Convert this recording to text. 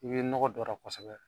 I bɔ nɔgɔ don a la kosɛbɛ